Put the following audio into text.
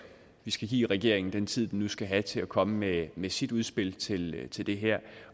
vi skal give regeringen den tid den nu skal have til at komme med med sit udspil til til det her